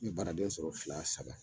N be baraden sɔrɔ fila saba la